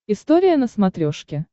история на смотрешке